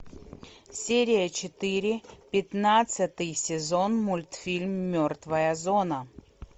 серия четыре пятнадцатый сезон мультфильм мертвая зона